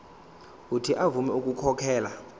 uuthi avume ukukhokhela